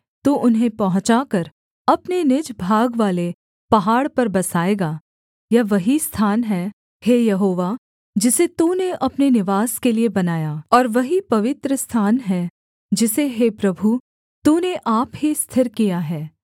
तू उन्हें पहुँचाकर अपने निज भागवाले पहाड़ पर बसाएगा यह वही स्थान है हे यहोवा जिसे तूने अपने निवास के लिये बनाया और वही पवित्रस्थान है जिसे हे प्रभु तूने आप ही स्थिर किया है